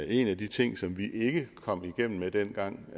en af de ting som vi ikke kom igennem med dengang